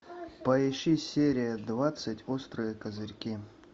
поищи серия двадцать острые козырьки